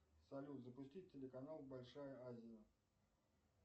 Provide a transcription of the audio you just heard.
салют запустить телеканал большая азия